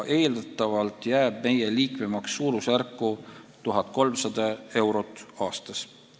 Eeldatavalt jääb meie liikmemaks suurusjärku 1300 eurot aastas.